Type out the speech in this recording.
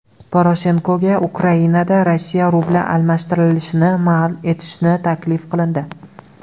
Poroshenkoga Ukrainada Rossiya rubli almashtirilishini man etish taklif qilindi.